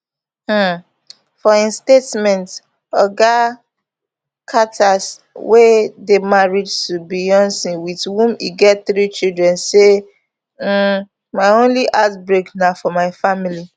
um for im statement oga carter wey dey married to beyonc wit whom e get three children say um my only heartbreak na for my family